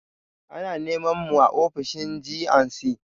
Ana neman mu a ofishin G&C.